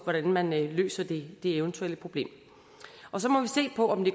hvordan man løser det eventuelle problem så må vi se på om det